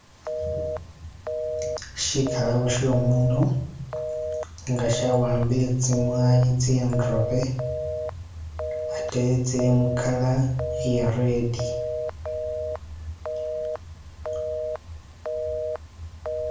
Shigalabo shomundu nga shawambile zimwanyi zindobe atee zili mu color iya red.